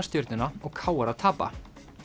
Stjörnuna og k r að tapa